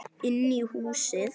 Inn í húsið?